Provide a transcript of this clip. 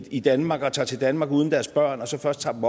i danmark og tager til danmark uden deres børn og så først tager dem